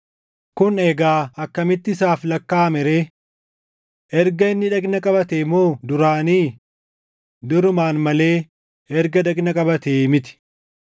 Kun egaa akkamitti isaaf lakkaaʼame ree? Erga inni dhagna qabatee moo duraanii? Durumaan malee erga dhagna qabate miti!